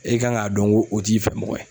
E kan k'a dɔn ngo o t'i fɛ mɔgɔ ye.